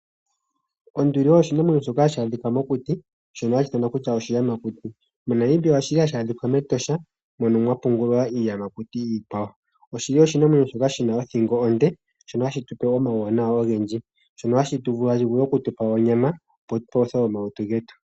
Onduli oyo oshinamwenyo shoka hashi adhika mokuti, shono hashi ithanwa kutya oshiyamakuti. MoNamibia oshili hashi adhika mEtosha, mono mwa pungulwa iiyamakuti iikwawo. Oshili oshinamwenyo shoka shina othingo onde, shono hashi tupe omauwanawa ogendji. Ohashi vulu okutupa onyama, opo tupaluthe omalutu getu.